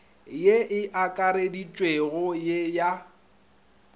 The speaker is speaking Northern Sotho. ye e akareditšwego ye ya